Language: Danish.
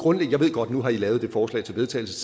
godt at nu har i lavet det forslag til vedtagelse